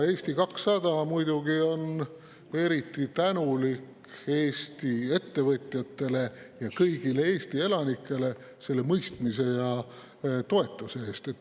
Eesti 200 on muidugi eriti tänulik Eesti ettevõtjatele ja kõigile Eesti elanikele mõistmise ja toetuse eest.